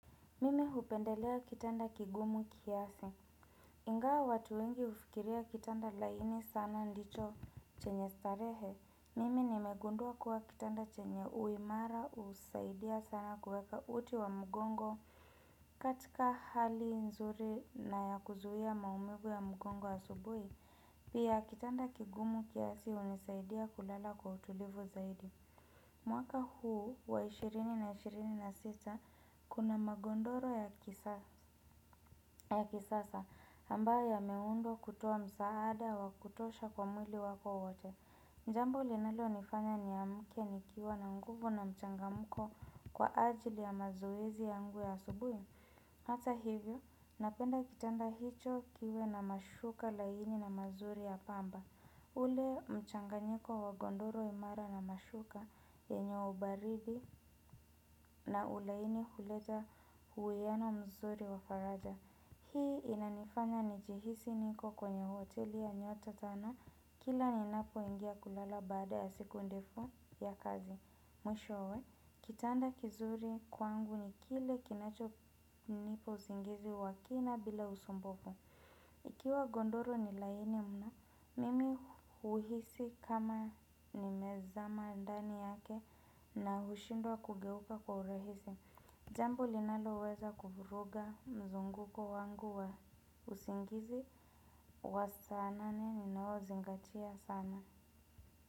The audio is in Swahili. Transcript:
Mimi hupendelea kitanda kigumu kiasi. Ingawa watu wengi hufikiria kitanda laini sana ndicho chenye starehe, mimi nimegundua kuwa kitanda chenye uimara husaidia sana kuweka uti wa mgongo. Katika hali nzuri na ya kuzuia maumivu ya mgongo asubuhi. Pia kitanda kigumu kiasi hunisaidia kulala kwa utulivu zaidi. Mwaka huu wa ishirini na ishirini na sita kuna magodoro ya kisasa ambayo yameundwa kutoa msaada wa kutosha kwa mwili wako wote. Jambo linalo nifanya niamke nikiwa na nguvu na mchangamko kwa ajili ya mazoezi ya ngu ya asubuhi. Hata hivyo napenda kitanda hicho kiwe na mashuka laini na mazuri ya pamba. Ule mchanganyiko wa godoro imara na mashuka yenye ubaridi na ulaini huleta uwiano mzuri wa faraja. Hii inanifanya nijihisi niko kwenye hoteli ya nyota tano kila ninapo ingia kulala baada ya siku ndefu ya kazi. Mwishowe, kitanda kizuri kwangu ni kile kinacho nipa usingizi wa kina bila usumbufu. Ikiwa godoro ni laini mno mimi huhisi kama nimezama ndani yake na hushindwa kugeuka kwa urahisi. Jambo linalo weza kuvuruga mzunguko wangu wa usingizi wa sana nane ninao zingatia sana.